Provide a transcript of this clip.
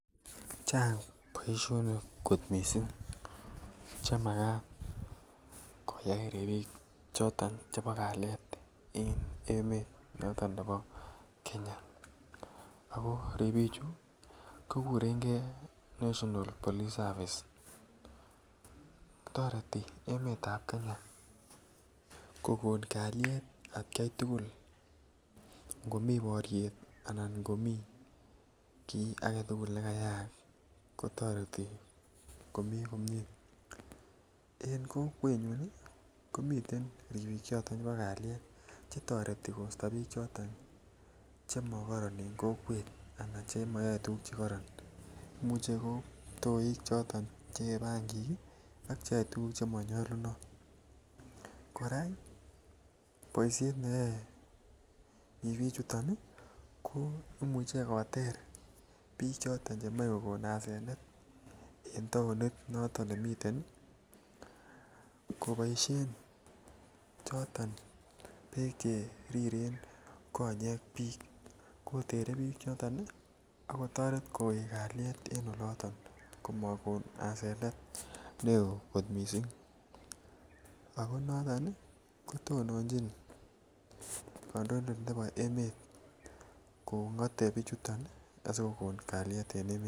Chang boisionik kot mising Che Makat koyai ribik choton chebo kalyet en emet noton nebo Kenya ago ribichu koguren gei national police service toreti emet ab Kenya ko kon kalyet atgai tugul ngo mi boryet anan ngo mi kii agetugul nekayaak ko toreti komii komie en kokwenyun komi ribik choton chebo kalyet Che toreti koisto bik choton che mokoron en kokwet anan Che yoe tuguk Che mokoron Imuch ko kiptoik Che yee bangik ak Che yoe tuguk Che manyolunotin kora boisiet neyoe ribichu ko Imuch koter bik Che moche kokon asenet en taonit noton nemiten koboisien choton Beek Che yoe konyek koriryo ak kotoret kowek kalyet en oloto ko mokon asenet neo kot mising ako noton ko tononjin kandoindet nebo emet kongote bichuto ko kon kalyet en emet